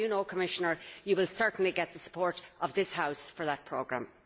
Commissioner, you will certainly get the support of this House for that programme.